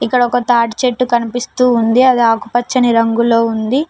ఇక్కడ ఒక తాటి చెట్టు కనిపిస్తూ ఉంది అది ఆకుపచ్చని రంగులో ఉంది.